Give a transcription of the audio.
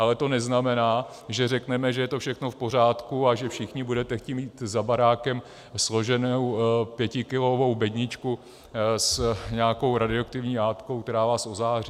Ale to neznamená, že řekneme, že je to všechno v pořádku, a že všichni budete chtít mít za barákem složenou pětikilovou bedničku s nějakou radioaktivní látkou, která vás ozáří.